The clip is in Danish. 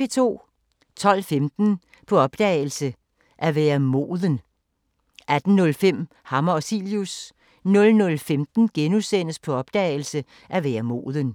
12:15: På opdagelse – At være moden 18:05: Hammer og Cilius 00:15: På opdagelse – At være moden *